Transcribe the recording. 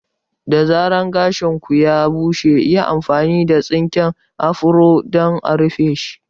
Da zarar gashin ku ya bushe, yi amfani da tsinken afro don a rufeshi.